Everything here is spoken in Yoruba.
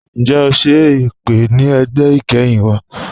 Ǹjẹ́ o ṣẹ̀ ipè̀ ni ẹgbẹ́ ikẹ́hin wa?